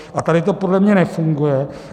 A tady to podle mě nefunguje.